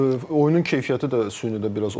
oyunun keyfiyyəti də süni də biraz o deyil.